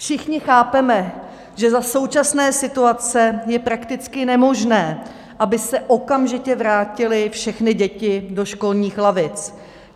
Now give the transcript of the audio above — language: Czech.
Všichni chápeme, že za současné situace je prakticky nemožné, aby se okamžitě vrátily všechny děti do školních lavic.